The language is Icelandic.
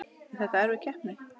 Er þetta erfið keppni?